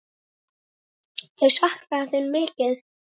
Þau sakna þín mikið.